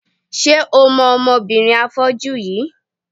Ṣé o mọ ọmọbìnrin afọ́jú yìí?